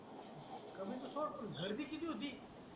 कमीचं सोड पण गर्दी किती होती